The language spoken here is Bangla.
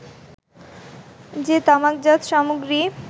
যে তামাকজাত সামগ্রী